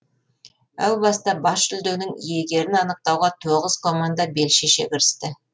әу баста бас жүлденің иегерін анықтауға тоғыз команда бел шеше кірісті